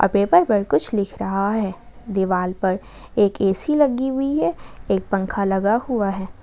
Paper पर कुछ लिख रहा है दीवाल पर एक ऐ_सी लगी हुई है एक पंख लगा हुआ है।